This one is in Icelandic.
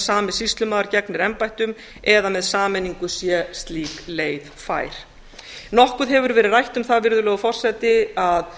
sami sýslumaður gegnir embættum eða að með sameiningu sé slík leið fær nokkuð hefur verið rætt um það virðulegur forseti að